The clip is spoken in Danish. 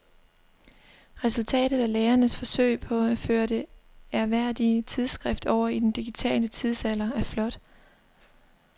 Resultatet af lægernes forsøg på at føre det ærværdige tidsskrift over i den digitale tidsalder er flot.